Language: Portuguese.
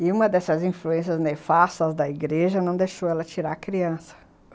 E uma dessas influências nefastas da igreja não deixou ela tirar a criança.